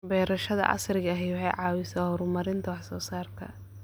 Beerashada casriga ahi waxay caawisaa horumarinta wax soo saarka.